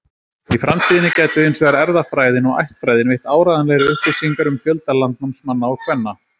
Í framtíðinni gætu hins vegar erfðafræðin og ættfræðin veitt áreiðanlegri upplýsingar um fjölda landnámsmanna og-kvenna.